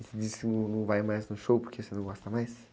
E você disse que não, não vai mais no show porque você não gosta mais?